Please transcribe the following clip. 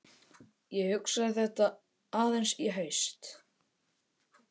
Ég hugsaði þetta aðeins í haust.